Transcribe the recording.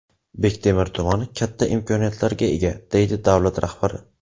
Bektemir tumani katta imkoniyatlarga ega”, deydi davlat rahbari.